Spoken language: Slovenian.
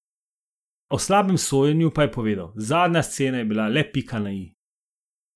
O slabem sojenju pa je povedal: "Zadnja scena je bila le pika na i.